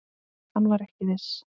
Hann var ekki viss.